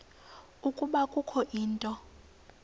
ukuba kukho into